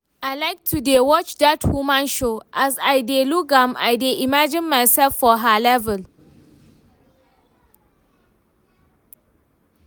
I like to dey watch dat woman show, as I dey look am I dey imagine myself for her level